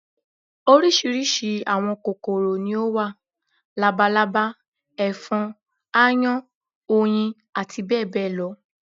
Oríṣiríṣi àwọn kòkòrò ni ó wà: labalábá, ẹ̀fọn, aáyán, oyin àti bẹ́ẹ̀ bẹ́ẹ̀ lọ